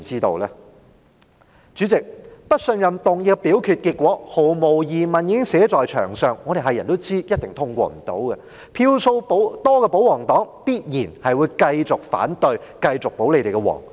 代理主席，不信任議案的表決結果，毫無疑問已經寫在牆上，所有人都知道一定無法通過，票數佔多數的保皇黨必然會繼續反對、繼續"保皇"。